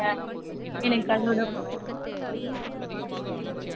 variety rice ல எந்த மாதிரி எந்த rice வேணும்னு சொல்லுங்க mam.